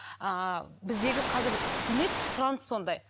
ыыы біздегі қазір демек сұраныс сондай